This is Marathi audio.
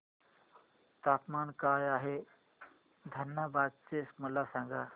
तापमान काय आहे धनबाद चे मला सांगा